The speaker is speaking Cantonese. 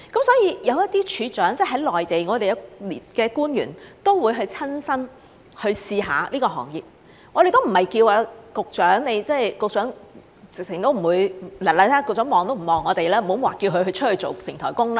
所以，有一些處長，即內地的官員都會親身去試試這個行業，我們也不是叫局長，局長看都不看我們，更不要說叫他出去做平台工，對吧？